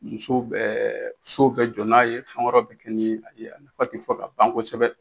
Muso bɛ so bɛ jɔ n'a ye fɛn wɛrɛw bi kɛ ni a ye a nafa ti fɔ kaban kosɛbɛ